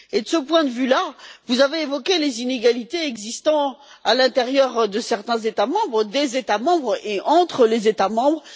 De ce point de vue, vous avez évoqué les inégalités existant à l'intérieur de certains États membres et entre les États membres.